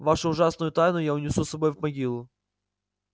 вашу ужасную тайну я унесу с собой в могилу